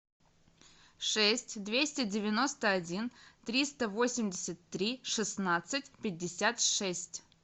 шесть двести девяносто один триста восемьдесят три шестнадцать пятьдесят шесть